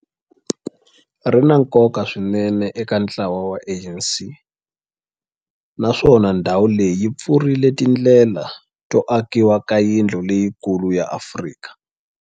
Ri na nkoka swinene eka ntlawa wa ANC, naswona ndhawu leyi yi pfurile tindlela to akiwa ka yindlu leyikulu ya Afrika.